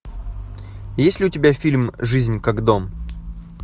есть ли у тебя фильм жизнь как дом